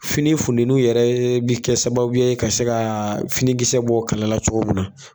Fini fudɛnuw yɛrɛ ye bi kɛ sababu ye ka se kaa finikisɛ bɔ kalala cogo mun na